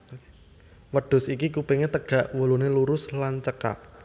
Wêdhus iki kupingé têgak wuluné lurus lan cêkak